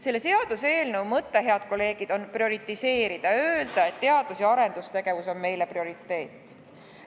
Selle seaduseelnõu mõte, head kolleegid, on teadus- ja arendustegevust prioriseerida – öelda, et see on meile prioriteet.